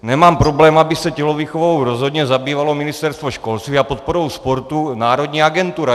Nemám problém, aby se tělovýchovou rozhodně zabývalo Ministerstvo školství a podporou sportu národní agentura.